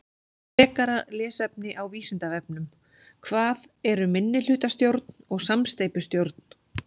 Frekara lesefni á Vísindavefnum: Hvað eru minnihlutastjórn og samsteypustjórn?